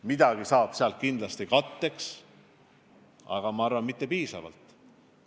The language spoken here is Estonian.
Midagi saab sealt kindlasti vajaduste katteks, aga ma arvan, et mitte piisavalt.